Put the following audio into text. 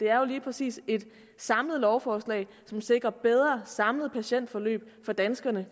er jo lige præcis et samlet lovforslag som sikrer bedre samlede patientforløb for danskerne